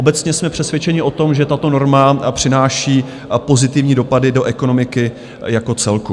Obecně jsme přesvědčeni o tom, že tato norma přináší pozitivní dopady do ekonomiky jako celku.